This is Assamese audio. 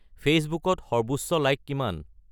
ফেইচবুকত সৰ্বোচ্চ লাইক কিমান